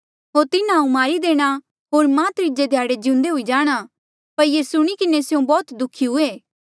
होर तिन्हा हांऊँ मारी देणा होर मां त्रीजे ध्याड़े जिउंदे हुई जाणा पर ये सुणी किन्हें स्यों बौह्त दुःखी हुए